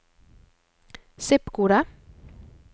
zip-kode